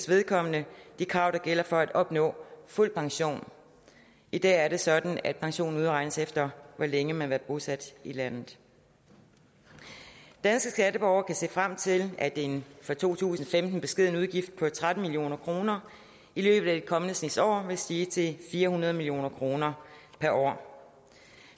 vedkommende det krav der gælder for at opnå fuld pension i dag er det sådan at pensionen udregnes efter hvor længe man har været bosat i landet danske skatteborgere kan se frem til at en for to tusind og femten beskeden udgift på tretten million kroner i løbet af den kommende snes år vil stige til fire hundrede million kroner per år